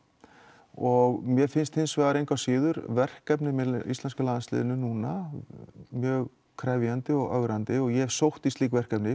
og mér finnst engu að síður verkefnin með landsliðinu núna mjög krefjandi og ögrandi og ég hef sótt í slík verkefni